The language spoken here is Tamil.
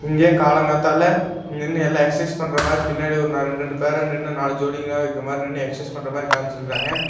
இங்க காலங்காத்தால நின்னு எல்லா எக்சர்சைஸ் பண்ற மாரி பின்னாடி ஒரு ரெண்டு ரெண்டு பேரா நாலு ஜோடிங்கலா இருக்கா மாரி நின்னு எக்சர்சைஸ் பண்ற மாரி காமிச்சிருக்காங்க.